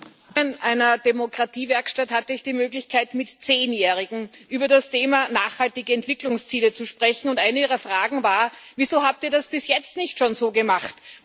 Herr Präsident! In einer Demokratiewerkstatt hatte ich die Möglichkeit, mit Zehnjährigen über das Thema nachhaltige Entwicklungsziele zu sprechen, und eine ihrer Fragen war Wieso habt ihr das bis jetzt nicht schon so gemacht?